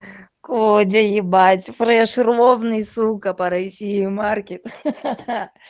кодя ебать фреш ровный сука по россии маркет